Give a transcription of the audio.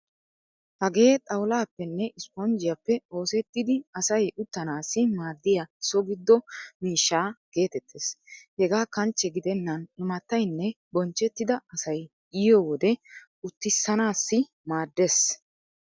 Hagee xawullaappenne isspponjjiyaappe oosettidi asay uttanaassi maaddiya so giddo miishsha geetettees. Hegaa kanchche gidennan imattaynne bonchchettida asay yiyo wode utissanaassi maaddees.